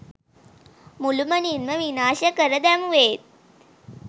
මුළුමනින්ම විනාශ කර දැමුවේත්